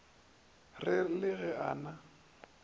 re le ge a na